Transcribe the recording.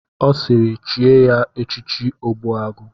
Ọ sịịrị chie ya echichi Ogbuagụ!